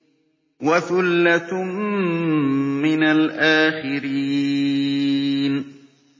وَثُلَّةٌ مِّنَ الْآخِرِينَ